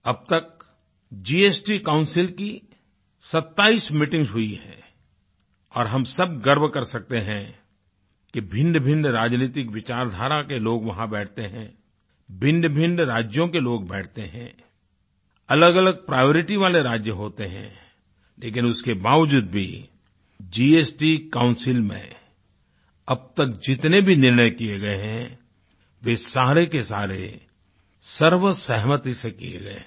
अब तक जीएसटी Councilकी 27 मीटिंग हुई हैं और हम सब गर्व कर सकते हैं कि भिन्नभिन्न राजनीतिक विचारधारा के लोग वहाँ बैठते हैं भिन्नभिन्न राज्यों के लोग बैठते हैं अलगअलग प्रायोरिटी वालेराज्य होते हैं लेकिन उसके बावजूद भी जीएसटी काउंसिल में अब तक जितने भी निर्णय किये गए हैं वे सारे के सारे सर्वसहमति से किये गए हैं